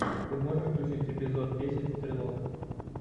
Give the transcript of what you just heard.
ты можешь включить эпизод десять стрелок